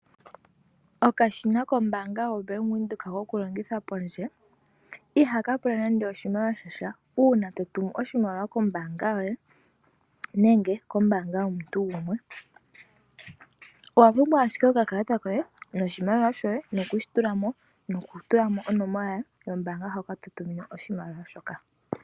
Okashina kombaanga yoBank Windhoek kokulongitha pondje, ihaka pula nando oshimaliwa sha sha uuna to tumu oshimaliwa kombaanga yoye nenge kombaanga yomuntu gumwe. Owa pumbwa owala okakalata kombaanga, oshimaliwa shoye nokushi tula mo nokutula mo onomola yombaanga hoka to tumine oshimaliwa shoka.